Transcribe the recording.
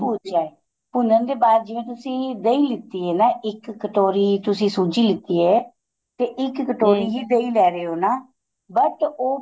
ਭੂਚਾ ਏ ਭੁੰਨਣ ਦੇ ਬਾਅਦ ਜਿਵੇਂ ਤੁਸੀਂ ਦਹੀ ਲੀਤੀ ਏ ਨਾ ਇੱਕ ਕਟੋਰੀ ਤੁਸੀਂ ਸੂਜੀ ਲੀਤੀ ਏ ਤੇ ਇੱਕ ਹੀ ਦਹੀ ਲੈ ਰਹੇ ਓ ਨਾ but ਉਹ